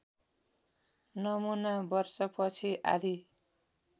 नमुना वर्षपछि आधी